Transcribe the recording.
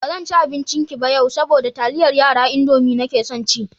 Ba zan ci abincinki ba yau, saboda taliyar yara (Indomie) nake son ci.